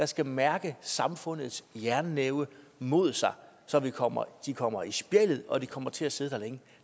skal mærke samfundets jernnæve mod sig så de kommer i kommer i spjældet og de kommer til at sidde der længe